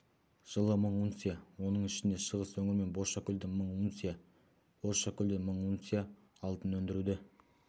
жылы мың унция оның ішінде шығыс өңір мен бозшакөлден мың унция бозшакөлден мың унция алтын өндіруді